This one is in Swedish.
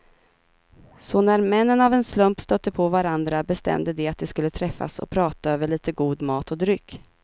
Så när männen av en slump stötte på varandra bestämde de att de skulle träffas och prata över lite god mat och dryck.